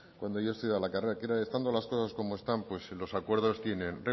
cuando yo estudiaba la carrera que era estando las cosas como están pues los acuerdo tienen